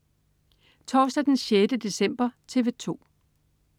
Torsdag den 6. december - TV 2: